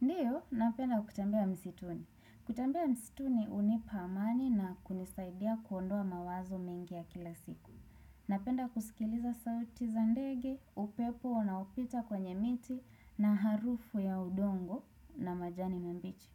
Ndio, napenda kutembea msituni. Kutembea msituni hunipa amani na kunisaidia kuondoa mawazo mengi ya kila siku. Napenda kusikiliza sauti za ndege, upepo unaoupita kwanye miti na harufu ya udogo na majani mambichi.